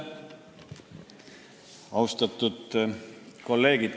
Austatud kolleegid!